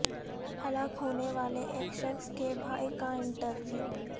ہلاک ہونے والے ایک شخص کے بھائی کا انٹرویو